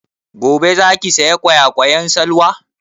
Gobe za ki saya ƙwayaƙwan Salwa?